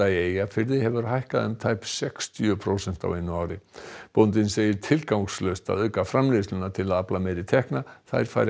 í Eyjafirði hefur hækkað um tæp sextíu prósent á einu ári bóndinn segir tilgangslaust að auka framleiðsluna til að afla meiri tekna þær fari